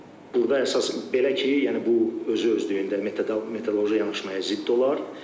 Burda əsas belə ki, yəni bu özü-özlüyündə metroloji yanaşmaya zidd olar.